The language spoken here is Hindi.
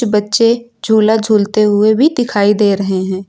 बच्चे झूला झूलते हुए भी दिखाई दे रहे हैं।